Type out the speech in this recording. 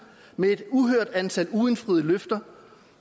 med et uhørt antal uindfriede løfter